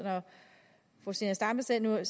fru zenia stampe sagde noget